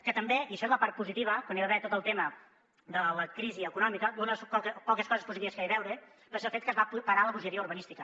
que també i això és la part positiva quan hi va haver tot el tema de la crisi econòmica una de les poques coses positives que hi va heure va ser el fet que es va parar la bogeria urbanística